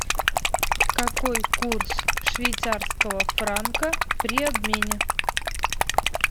какой курс швейцарского франка при обмене